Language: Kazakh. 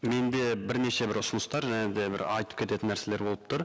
менде бірнеше бір ұсыныстар және де бір айтып кететін нәрселер болып тұр